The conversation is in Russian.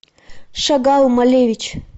шагал малевич